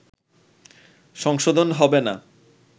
সংশোধন হবে না